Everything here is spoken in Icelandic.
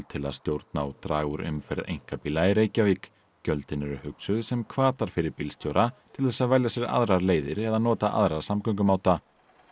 til að stjórna og draga úr umferð einkabíla í Reykjavík gjöldin eru hugsuð sem hvatar fyrir bílstjóra til þess að velja sér aðrar leiðir eða nota aðra samgöngumáta